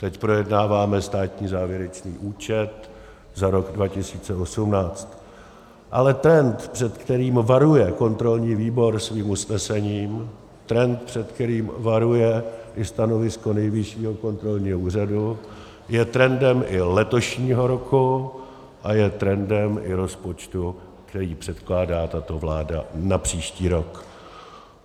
Teď projednáváme státní závěrečný účet za rok 2018, ale trend, před kterým varuje kontrolní výbor svým usnesením, trend, před kterým varuje i stanovisko Nejvyššího kontrolního úřadu, je trendem i letošního roku a je trendem i rozpočtu, který předkládá tato vláda na příští rok.